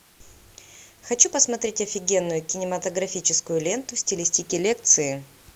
хочу посмотреть офигенную кинематографическую ленту в стилистике лекции